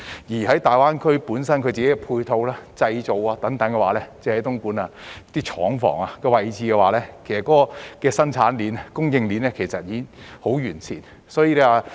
至於大灣區本身的配套及製造等，單是東莞廠房的位置，其實生產鏈及供應鏈已經十分完善。